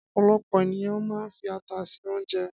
Ọ̀pọ̀lọpọ̀ ènìyàn máa ń fi ata se oúnjẹ.